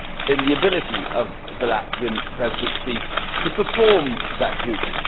in the ability of the Latvian Presidency to perform that duty.